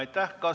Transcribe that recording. Aitäh!